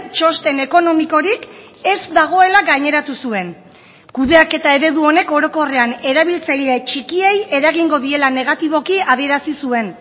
txosten ekonomikorik ez dagoela gaineratu zuen kudeaketa eredu honek orokorrean erabiltzaile txikiei eragingo diela negatiboki adierazi zuen